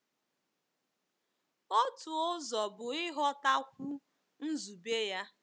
Otu ụzọ bụ ịghọtakwu nzube ya.